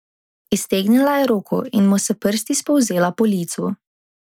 Iztegnila je roko in mu s prsti spolzela po licu.